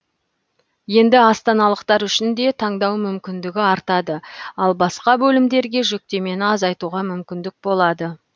енді астаналықтар үшін де таңдау мүмкіндігі артады ал басқа бөлімдерге жүктемені азайтуға мүмкіндік болады